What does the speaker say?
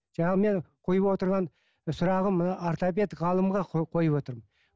жаңағы менің қойып отырған сұрағым мына ортопед ғалымға қойып отырмын